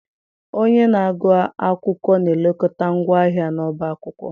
Onye na-agụ akwụkwọ na-elekọta ngwa ahịa n'ọbá akwụkwọ.